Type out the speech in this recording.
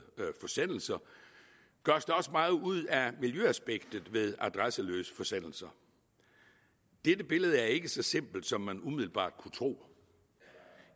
forsendelser gøres der også meget ud af miljøaspektet ved adresseløse forsendelser dette billede er ikke så simpelt som man umiddelbart kunne tro